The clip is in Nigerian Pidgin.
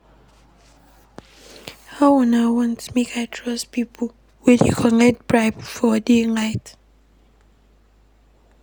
How una wan make I trust pipo wey dey collect bribe for day-light?